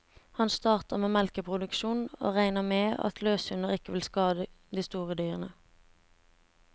Han startet med melkeproduksjon, og regnet med at løshunder ikke ville skade de store kyrne.